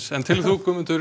Guðmundur